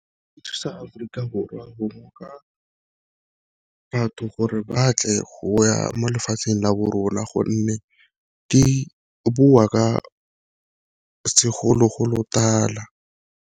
Thusa Aforika Borwa bongoka batho gore batle go ya mo lefatsheng la bo rona gonne di boa ka segologolotala.